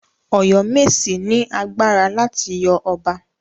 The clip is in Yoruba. Ọ̀yọ́mèsì ni agbára láti yọ ọba.